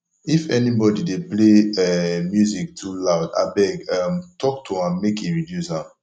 if anybody dey play um music too loud abeg um talk to am make e reduce am